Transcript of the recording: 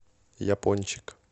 япончик